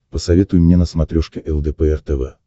посоветуй мне на смотрешке лдпр тв